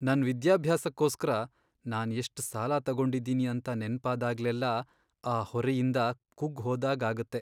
ನನ್ ವಿದ್ಯಾಭ್ಯಾಸಕ್ಕೋಸ್ಕರ ನಾನ್ ಎಷ್ಟ್ ಸಾಲ ತಗೊಂಡಿದ್ದೀನಿ ಅಂತ ನೆನ್ಪಾದಾಗ್ಲೆಲ್ಲ ಆ ಹೊರೆಯಿಂದ ಕುಗ್ಗ್ ಹೋದಾಗ್ ಆಗತ್ತೆ.